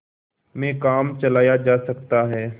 में काम चलाया जा सकता है